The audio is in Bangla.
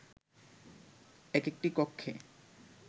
একেকটি কক্ষে